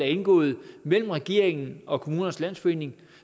indgået mellem regeringen og kommunernes landsforening